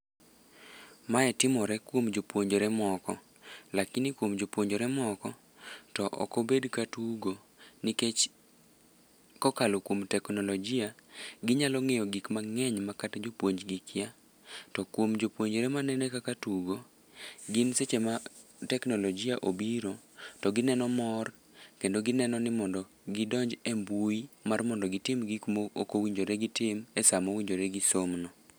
Mae timore kuom jopuonjre moko, lakini kuom jopuonjre moko to ok obed ka tugo ,nikech kokalo kuom teknolojia, ginyalo ng'iyo gik mang'eny ma kata jopuonj gi kia, to kuom jopuonjre manene kaka tugo, gin seche ma teknolojia obiro, to gineno mor kendo gineno ni mondo gidonj e mbui mar mondo gitim gik mokowinjore gitim e samo winjore gisomno.